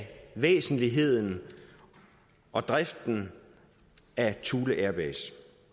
væsentligheden og driften af thule airbase